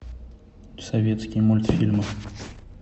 советские мультфильмы